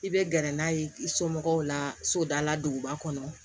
I bɛ gɛrɛ n'a ye i somɔgɔw la sodala duguba kɔnɔ